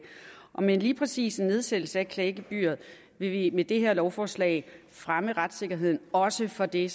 og med lige præcis en nedsættelse af klagegebyret vil vi med det her lovforslag fremme retssikkerheden også for det